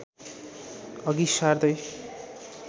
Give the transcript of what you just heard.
अघि सार्दै